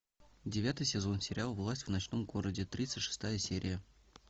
девятый сезон сериал власть в ночном городе тридцать шестая серия